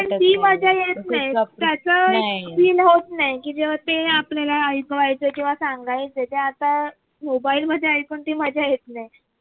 पण ती मजा येत नाही तस feel होत नाही कि जेव्हा ते आपल्याला ऐकवायचे किव्वा सांगायचे ते आता mobile मध्ये ऐकून ती मजा येत नाही